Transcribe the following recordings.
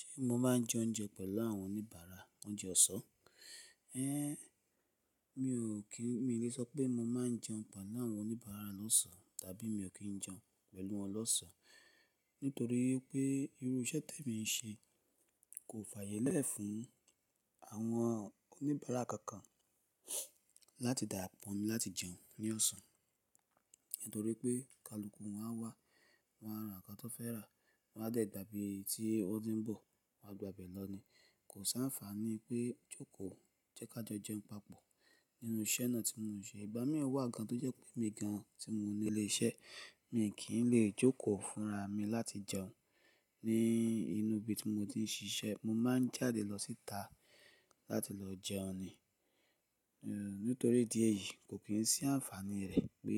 Ṣé mo máa ń jẹ oúnjẹ pẹ̀lú àwọn oníbàárà oúnjẹ ọ̀sán? Ẹn, mi ò kí, mi lè sọ pé mo máa ń jẹun pẹ̀lú àwọn oníbàárà lọ́sàn-án tàbí mi ò kí ń jẹun pẹ̀lú wọn lọ́sán, nítorí wipé irú iṣẹ́ te mi ń ṣe kò fààyè lẹ́ẹ̀ fún àwọn oníbàárà kankan láti darapọ̀ mi láti jẹun ní ọ̀sán. Nítorí pé kaluku wọn á wà, wọ́n á rán ǹkan tan fẹ́ rà, wọ́n á dẹ̀ gbà ibí tí won ti ń bọ̀, wọ́n á gba ibẹ̀ lọ ni. Kò sáafàní pé jókòó jẹ́ ká jẹun papọ̀ nínú iṣẹ́ náà tí mo ń ṣe. Ìgbà míì wà gan-an tó jẹ́ pé mi gan-an tí mo ní ilé iṣẹ́, mi kì í lè jókòó fúnra mi láti jẹun ní inú ibi tí mo ti ń ṣiṣẹ́. Mo máa ń jáde lọ síta láti lọ jẹun ni. Nítorí ìdí èyí kò kí ń sí àǹfàní rẹ̀ pé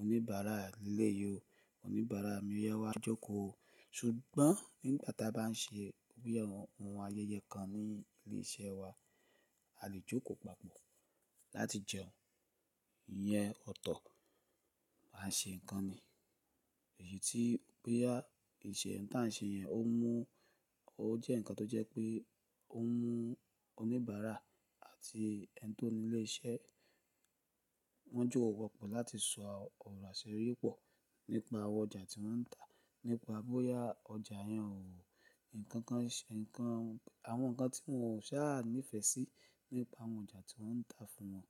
oníbàárà lé yó, oníbàárà mi oya wá jókòó. Sugbọ́n nígbà ta bá ń ṣe bi ohun ayẹyẹ kan ní ilé iṣẹ́ wa, a lè jókòó papọ̀ láti jẹun. Ìyẹn ọ̀tọ̀, a ń ṣe ǹkan ni. Èyí tí pé á, ìṣe, ǹtàn ṣe yẹn ó mú ó jẹ́ ǹkan tó jẹ́ pé ó mú oníbàárà àti ẹni tó ní ile iṣẹ́ wọ́n jóko papọ̀ láti sọ ọ̀rọ̀ àṣeré pọ̀ nípa àwọn ọjà tí wọ́n ń tà, nípa bóyá ọjà yẹn ò, ǹkan kan ṣe, ǹkan, àwọn ǹkan tí wọn ò sáà nífẹ̀ẹ́ sí nípa àwọn ọjà tí wọ́n ń tà fún wọn.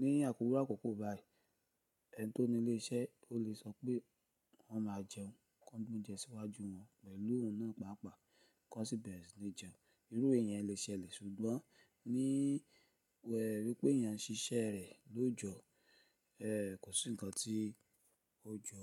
Ní iru àkọ́kọ́ bá i, ẹni tó nílé iṣẹ́ o lè sọ pé wọ́n máa jẹun, kan gbé oúnjẹ síwájú wọn pẹ̀lú òun náà pàápàá kó n sí bẹ́re sì ni jẹun. Irú iyen lè ṣẹlẹ̀ sugbọ́n ní wípé eeyan ń ṣiṣẹ́ rẹ̀ lójoòjọ́, ẹ́ kò sí ǹkan tí ó jọ.